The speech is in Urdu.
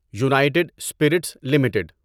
United Spirits limited